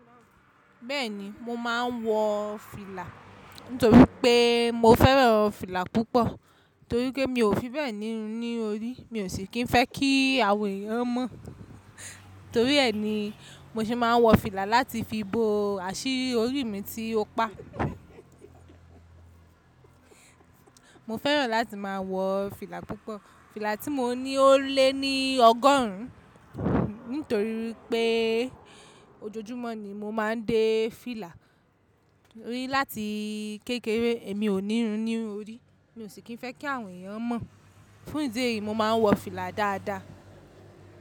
Bẹ́ẹ̀ni mo máa ń wọ fìlà, nítorí pé mo fẹ́ràn fìlà púpọ̀. Torí pé mi ò fi bẹ́ẹ̀ ni ní orí, mi ò sì kí ń fẹ́ kí àwọn èèyàn mọ̀. Torí ẹ ni mo ṣe máa ń wọ fìlà láti fi bo àṣírí orí mi tí ó pa. Mo fẹ́ràn láti máa wọ fìlà púpọ̀. Fìlà tí mo ní ó lé ní ọgọ́rùn-ún. Nítorí pé ojoojúmọ́ ni mo máa ń dé fìlà, láti kékeré èmi ò nírun ní orí, mi ò sì kí ń fẹ́ kí àwọn èèyàn mọ̀. Fún ìdí èyí, mo máa ń wọ fìlà dáadáa.